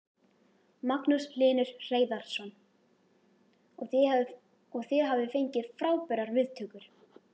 Magnús Hlynur Hreiðarsson: Og þið hafið fengið frábærar viðtökur?